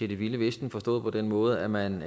vilde vesten forstået på den måde at man